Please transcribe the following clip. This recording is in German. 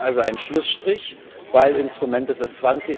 Ziehen Sie also einen Schlussstrich, denn Instrumente des